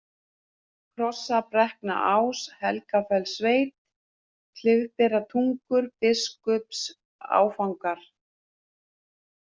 Krossabrekknaás, Helgafellssveit, Klifberatungur, Biskupsáfangar